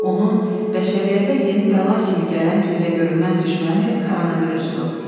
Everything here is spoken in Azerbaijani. Onun bəşəriyyətə yeni bəla kimi gələn gözəgörünməz düşməni koronavirusdur.